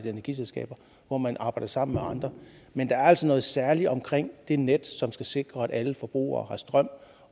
energiselskaber hvor man arbejder sammen med andre men der er altså noget særligt omkring det net som skal sikre at alle forbrugere har strøm